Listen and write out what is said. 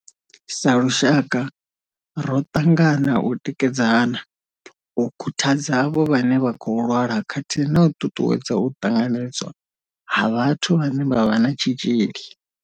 Sa lushaka, ro ṱangana u tikedzana, u khuthadza avho vhane vha khou lwala khathihi na u ṱuṱuwedza u ṱanganedzwa ha vhathu vhane vha vha na tshitzhili.